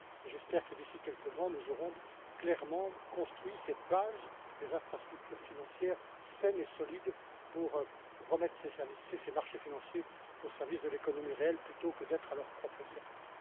J'espère que, d'ici quelques mois, nous aurons clairement construit cette base des infrastructures financières saines et solides pour remettre ces marchés financiers au service de l'économie réelle, plutôt que d'être à leur propre service.